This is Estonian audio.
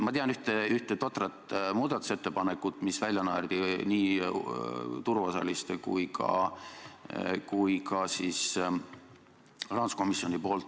Ma tean ühte totrat muudatusettepanekut, mille naersid välja nii turuosalised kui ka rahanduskomisjon.